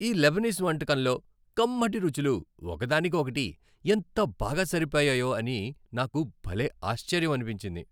ఈ లెబనీస్ వంటకంలో కమ్మటి రుచులు ఒక దానికి ఒకటి ఎంత బాగా సరిపోయాయో అని నాకు భలే ఆశ్చర్యమనిపించింది.